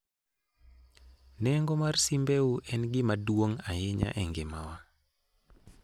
Nengo mar simbeu en gima duong' ahinya e ngimawa